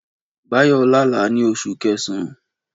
Báyọ̀ lá àlá ní Oṣù Kẹsàn-án